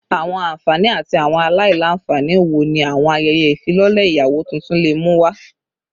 Awọn anfani ati awọn alailanfani wo ni awọn ayẹyẹ ifilọlẹ iyawo tuntun le mu wa?